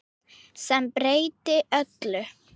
Sem breytti öllu.